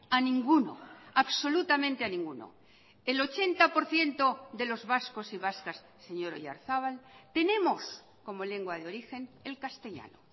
a ninguno absolutamente a ninguno el ochenta por ciento de los vascos y vascas señor oyarzabal tenemos como lengua de origen el castellano